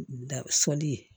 Da fɔli ye